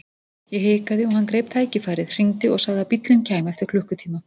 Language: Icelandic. Ég hikaði og hann greip tækifærið, hringdi og sagði að bíllinn kæmi eftir klukkutíma.